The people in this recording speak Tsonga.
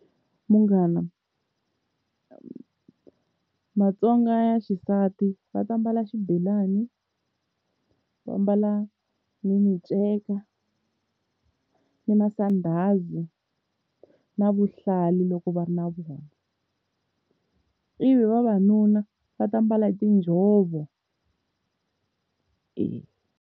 Munghana Matsonga ya xisati va ta mbala xibelani va mbala ni minceka ni masandhazi na vuhlalu loko va ri na byona, ivi vavanuna va ta mbala hi tinjhovo.